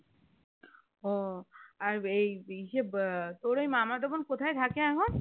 উহ আর এই এসে আহ তোর ওই মামা কোথায় থাকে এখন